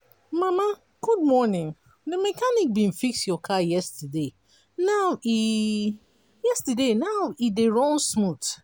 mama good morning di mechanic bin fix your car yesterday now e yesterday now e dey run smooth.